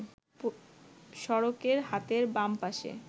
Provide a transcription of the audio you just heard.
সড়কে হাতের বাম পাশে